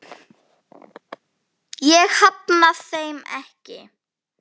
Ég hafna þeim ekki.